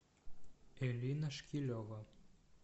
элина шкилева